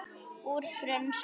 Úr frönsku